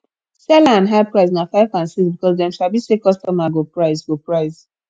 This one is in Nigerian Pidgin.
seller and high price na 5 and 6 because dem sabi say kostomer go price go price